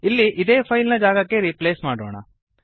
ಇಲ್ಲಿ ಇದೇ ಫೈಲ್ ನ ಜಾಗಕ್ಕೆ ರೀಪ್ಲೇಸ್ ಮಾಡೋಣ